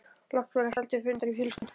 Loks var haldinn fundur í fjölskyldunni.